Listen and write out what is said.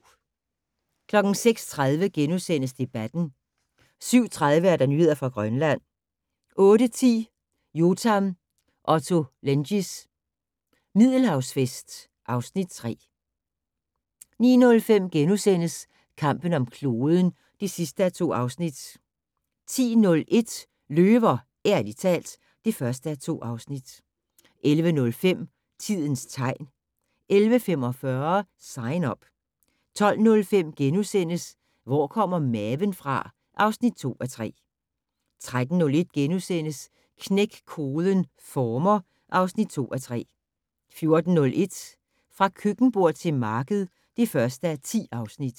06:30: Debatten * 07:30: Nyheder fra Grønland 08:10: Yotam Ottolenghis Middelhavsfest (Afs. 3) 09:05: Kampen om kloden (2:2)* 10:01: Løver - ærligt talt (1:2) 11:05: Tidens tegn 11:45: Sign Up 12:05: Hvor kommer maven fra? (2:3)* 13:01: Knæk koden - former (2:3)* 14:01: Fra køkkenbord til marked (1:10)